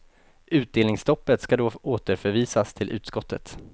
Utdelningsstoppet ska då återförvisas till utskottet.